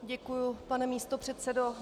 Děkuji, pane místopředsedo.